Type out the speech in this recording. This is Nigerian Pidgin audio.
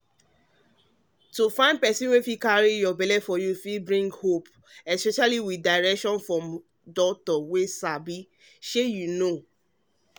to find help to fit carry belle fit bring fresh hope especially with direction from doctor wey sabishey you know